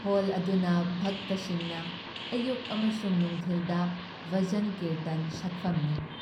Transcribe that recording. Hall ꯑꯗꯨꯅ ꯚꯛꯇꯁꯤꯡꯅ ꯑꯌꯨꯛ ꯑꯃꯁꯨꯡ ꯅꯨꯡꯊꯤꯜꯗ ꯚꯖꯟ ꯀꯤꯔꯇꯟ ꯁꯛꯐꯝꯅꯤ ꯫